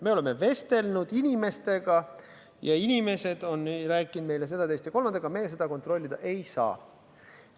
Me oleme vestelnud inimestega ja inimesed on rääkinud meile seda, teist ja kolmandat, aga me seda kontrollida ei saa.